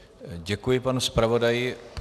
Děkuji panu zpravodaji.